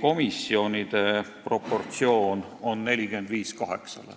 komisjonides oli proportsioon samal ajal 45 : 8.